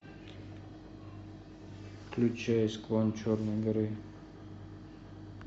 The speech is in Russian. включай склон черной горы